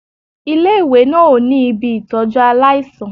Ilé-ìwé náà ò ní ibi ìtọ́jú aláìsàn